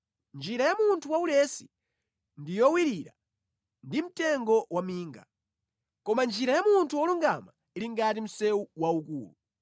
Njira ya munthu waulesi ndi yowirira ndi mtengo waminga, koma njira ya munthu wolungama ili ngati msewu waukulu.